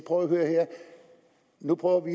hør her nu prøver vi